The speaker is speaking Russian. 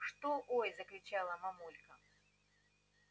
что ой закричала мамулька